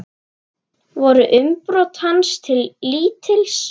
Voru umbrot hans til lítils.